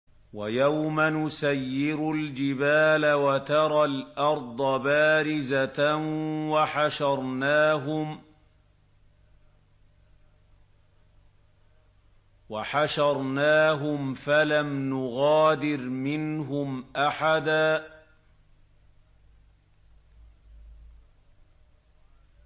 وَيَوْمَ نُسَيِّرُ الْجِبَالَ وَتَرَى الْأَرْضَ بَارِزَةً وَحَشَرْنَاهُمْ فَلَمْ نُغَادِرْ مِنْهُمْ أَحَدًا